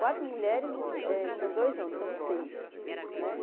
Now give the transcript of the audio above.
Quatro mulheres e eh são dois homens, somos seis né.